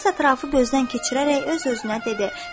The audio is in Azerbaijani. İlyas ətrafı gözdən keçirərək öz-özünə dedi.